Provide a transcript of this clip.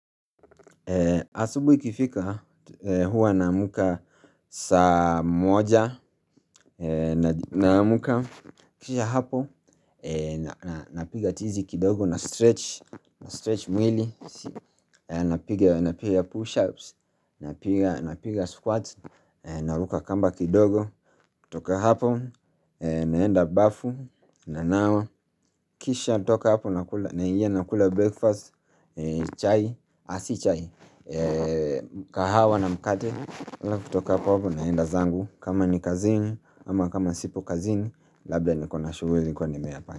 Asubui ikifika hua naamka saa moja naamka kisha hapo na napiga tizi kidogo na stretch na stretch mwili napiga napiga push ups napiga na piga squats na ruka kamba kidogo toka hapo naenda bafu na nawa kisha toka hapo nakula naingia nakula breakfast chai asi chai kahawa na mkate ila kutoka hapo naenda zangu kama ni kazini ama kama sipo kazini Labda nikona shughuli nilikua nimeyapa.